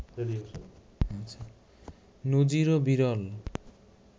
নজিরও বিরল